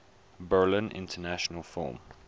berlin international film